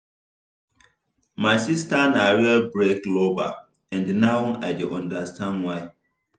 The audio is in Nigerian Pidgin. my sister na real break lover and now i dey understand why.